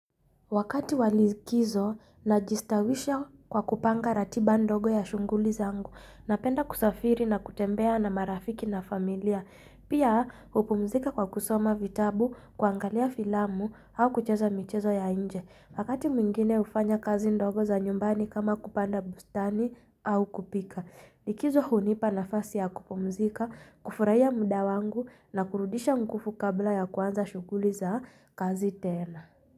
Wakati wa likizo najistawisha kwa kupanga ratiba ndogo ya shunguli zangu, napenda kusafiri na kutembea na marafiki na familia. Pia hupumzika kwa kusoma vitabu, kuangalia filamu au kucheza michezo ya nje. Wakati mwingine hufanya kazi ndogo za nyumbani kama kupanda bustani au kupika. Likizo hunipa nafasi ya kupumzika, kufurahia muda wangu na kurudisha mkufu kabla ya kuanza shunguli za kazi tena.